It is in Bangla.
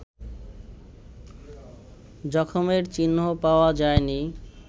জখমের চিহ্নও পাওয়া যায়নি